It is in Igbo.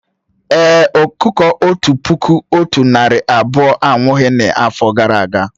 Èé, ọkụkọ otu puku otu narị abụọ anwụghị n'afọ gara aga